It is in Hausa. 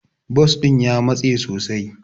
Bas din ya matse sosai.